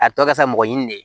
A tɔ ka fisa mɔgɔ ɲini de ye